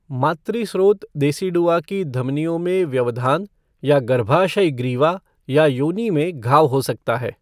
मातृ स्रोत देसिडुआ की धमनियों में व्यवधान या गर्भाशय ग्रीवा या योनि में घाव हो सकता है।